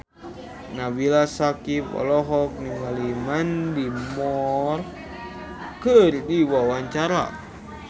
Nabila Syakieb olohok ningali Mandy Moore keur diwawancara